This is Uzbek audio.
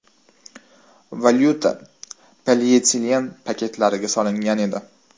Valyuta polietilen paketlariga solingan edi.